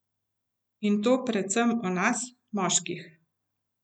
In to predvsem o nas, moških.